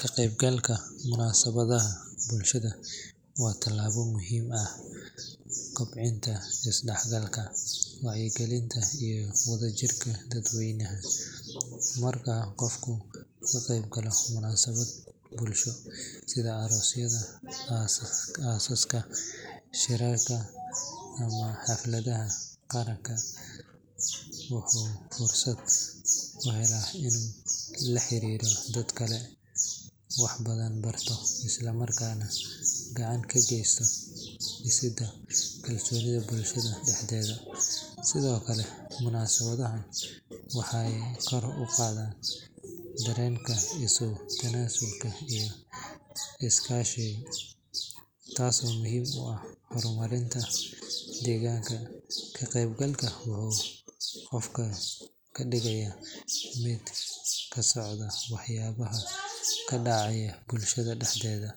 Ka qeybgalka munaasabadaha bulshada waa tallaabo muhiim u ah kobcinta isdhexgalka, wacyiga iyo wadajirka dadweynaha. Marka qofku ka qeyb galo munaasabad bulsho sida aroosyada, aasaska, shirarka, ama xafladaha dhaqanka, wuxuu fursad u helaa inuu la xiriiro dad kale, wax badan barto, isla markaana gacan ka geysto dhisidda kalsoonida bulshada dhexdeeda. Sidoo kale, munaasabadahan waxay kor u qaadaan dareenka isu-tanaasulka iyo is-kaashiga, taasoo muhiim u ah horumarinta deegaanka. Ka qeybgalka wuxuu qofka ka dhigayaa mid la socda waxyaabaha ka dhacaya bulshada dhexdeeda,